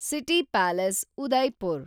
city palace, Udaipur